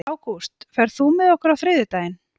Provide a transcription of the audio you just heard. Ágúst, ferð þú með okkur á þriðjudaginn?